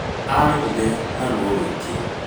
Arĩrire na ruo rũingĩ